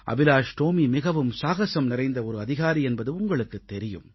அபிலாஷ் டோமி மிகவும் சாகஸம் நிறைந்த ஒரு அதிகாரி என்பது உங்களுக்குத் தெரியும்